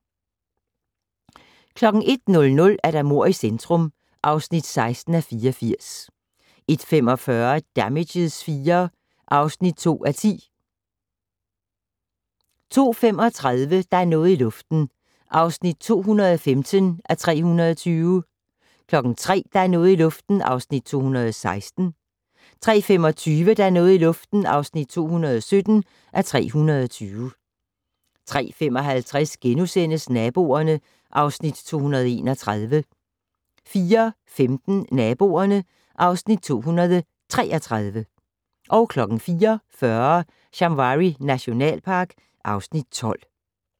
01:00: Mord i centrum (16:84) 01:45: Damages IV (2:10) 02:35: Der er noget i luften (215:320) 03:00: Der er noget i luften (216:320) 03:25: Der er noget i luften (217:320) 03:55: Naboerne (Afs. 231)* 04:15: Naboerne (Afs. 233) 04:40: Shamwari nationalpark (Afs. 12)